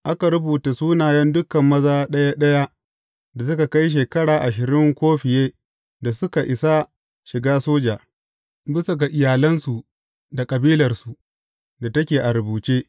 Aka rubuta sunayen dukan maza ɗaya ɗaya da suka kai shekara ashirin ko fiye da suka isa shiga soja, bisa ga iyalansu da kabilarsu da take a rubuce.